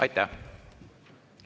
Aitäh!